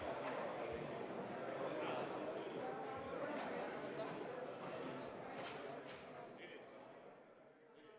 Tänase istungi esimene päevakorrapunkt on Vabariigi Valitsuse algatatud Euroopa Liidu ühise põllumajanduspoliitika rakendamise seaduse muutmise seaduse eelnõu 227 teine lugemine.